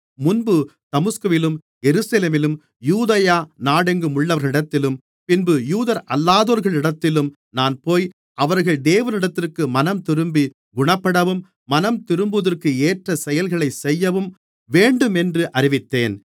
முன்பு தமஸ்குவிலும் எருசலேமிலும் யூதேயா நாடெங்குமுள்ளவர்களிடத்திலும் பின்பு யூதரல்லாதோர்களிடத்திலும் நான் போய் அவர்கள் தேவனிடத்திற்கு மனம்திரும்பி குணப்படவும் மனம்திரும்புவதற்கேற்ற செயல்களைச் செய்யவும் வேண்டுமென்று அறிவித்தேன்